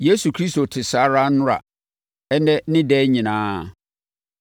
Yesu Kristo te saa ara nnora, ɛnnɛ ne daa nyinaa.